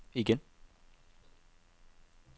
igen